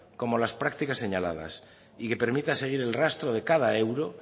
como las prácticas señaladas y que permita seguir el rastro de cada euro